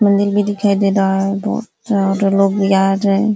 मंदिर भी दिखाई दे रहा है। बहोत लोग भी आ रहे --